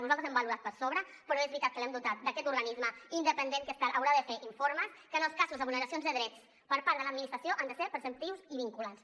nosaltres l’hem valorat per sobre però és veritat que l’hem dotat d’aquest organisme independent que haurà de fer informes que en els casos de vulneracions de drets per part de l’administració han de ser preceptius i vinculants